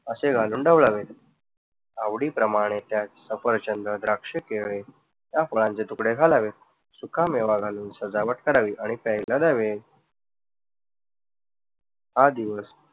असे घालून ढवळावे. आवडीप्रमाणे त्यात सफरचंद, द्राक्ष, केळ या फळांचे तुकडे घालावे. सुखा मेवा घालून सजावट करावी आणि प्यायला द्यावे. हा दिवस